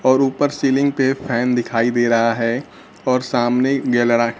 और ऊपर सीलिंग पे फैन दिखाई दे रहा है और सामने गैलरा--